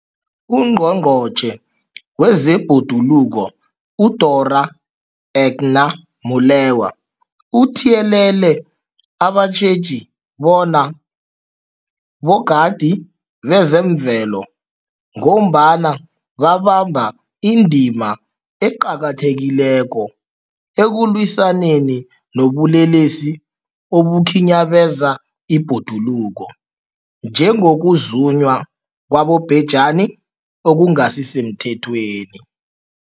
UNgqongqotjhe wezeBhoduluko uDorh Edna Molewa uthiyelele abatjheji bona bogadi bezemvelo, ngombana babamba indima eqakathekileko ekulwisaneni nobulelesi obukhinyabeza ibhoduluko, njengokuzunywa kwabobhejani okungasisemthethweni.